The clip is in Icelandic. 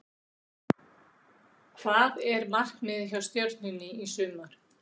Hvað er markmiðið hjá Stjörnunni í sumar?